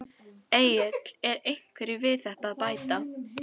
Egill er einhverju við þetta að bæta?